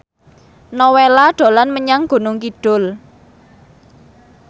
Nowela dolan menyang Gunung Kidul